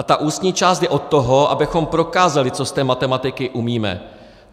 A ta ústní část je od toho, abychom prokázali, co z té matematiky umíme.